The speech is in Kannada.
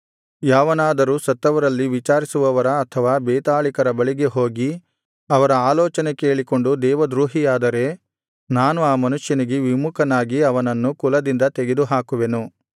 ಯಾವನಾದರೂ ಸತ್ತವರಲ್ಲಿ ವಿಚಾರಿಸುವವರ ಅಥವಾ ಬೇತಾಳಿಕರ ಬಳಿಗೆ ಹೋಗಿ ಅವರ ಆಲೋಚನೆ ಕೇಳಿಕೊಂಡು ದೇವದ್ರೋಹಿಯಾದರೆ ನಾನು ಆ ಮನುಷ್ಯನಿಗೆ ವಿಮುಖನಾಗಿ ಅವನನ್ನು ಕುಲದಿಂದ ತೆಗೆದುಹಾಕುವೆನು